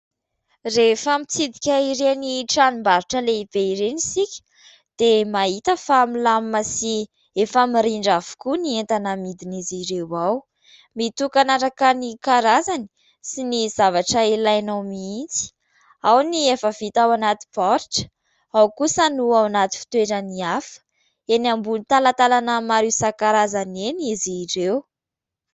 Rehefa mitsidika ireny tranombarotra lehibe ireny isika dia mahita fa milamima sy efa mirindra avokoa ny entana amidiny izy ireo ao. Mitokana araka ny karazany sy ny zavatra ilainao mihitsy, ao ny efa vita ao anaty baoritra, ao kosa no ao anaty fitoerany hafa. Eny ambony talantalana maro isan-karazany eny izy ireo.